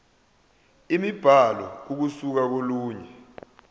imibhalo ukusuka kolunye